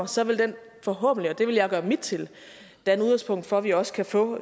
så vil den forhåbentlig og det vil jeg gøre mit til danne udgangspunkt for at vi også kan få